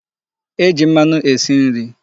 E ji mmanụ esi nri.